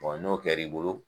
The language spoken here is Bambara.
n'o kɛr'i bolo